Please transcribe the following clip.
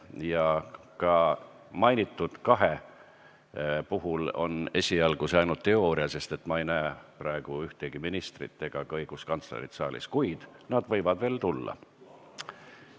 Ja ka mainitud kahe puhul on see esialgu ainult teooria, sest ma ei näe praegu ühtegi ministrit ega ka õiguskantslerit saalis, kuid nad võivad siia veel tulla.